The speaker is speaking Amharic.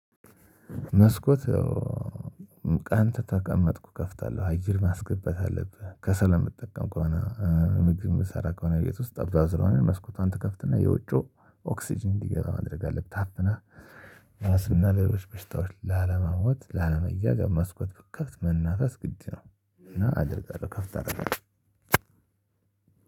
መስኮት አንተ ተቀመጥኩ እከፍታለው አየው ማስገባት አለብህ ከሰል ብትጠቀም ከሆነ ምግብ የምትሰራ ከሆነ የት ውስጥ አባዝቶ ነው መስኮቷን ትከፍትና የውጩ ኦክስጅን እንዲገባ ማድረግ አለብህ ታፍነ ራስህና ሌሎች በሽታዎች ላለመሞት ላለመያገብ መስኮት ብትከፍት መናፈስ ግድ ነው። እና አደርጋለሁ ከፍት አደርጋለው